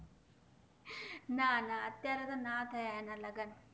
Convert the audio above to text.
ના ના અત્યરે તો ના થયા એના થયા એના લગન